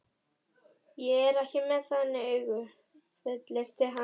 Ég er ekki með þannig augu, fullyrti hann.